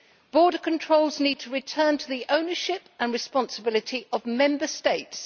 Border controls need to return to the ownership and responsibility of Member States.